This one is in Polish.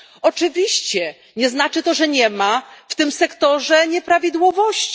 Oczywiście nie znaczy to, że nie ma w tym sektorze nieprawidłowości.